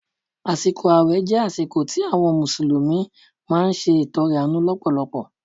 Àsìkò ààwẹ̀ jẹ́ àsìkò tí àwọn mùsùlùmí máa ń ṣe ìtọrẹ àánú lọ́pọ̀lọpọ̀